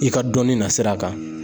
I ka dɔnni nasira kan